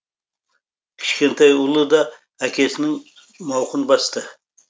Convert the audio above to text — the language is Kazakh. кішкентай ұлы да әкесінің мауқын басты